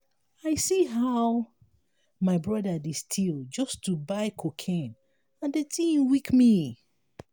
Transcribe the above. i see how my brother dey still just to buy cocaine and the thing weak me